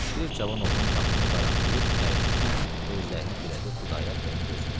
Bir cavan oğlan qapını aralayıb təəccüblə gözlərini dirədi Xudayar bəyin gözünə.